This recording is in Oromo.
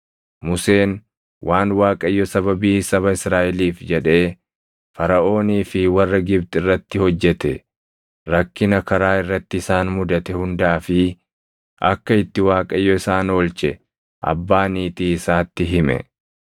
Museen waan Waaqayyo sababii saba Israaʼeliif jedhee Faraʼoonii fi warra Gibxi irratti hojjete, rakkina karaa irratti isaan mudate hundaa fi akka itti Waaqayyo isaan oolche abbaa niitii isaatti hime.